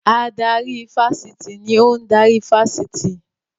Adarí ifásitì ni ò ń darí ifásitì